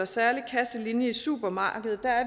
særlig kasselinje i supermarkedet er